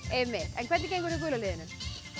en hvernig gengur hjá gula liðinu